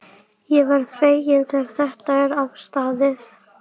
Ég verð feginn þegar þetta er afstaðið.